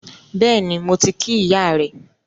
Bẹ́ẹ̀ni, mo ti kí ìyá rẹ